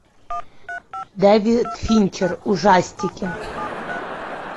дэвид финчер ужастики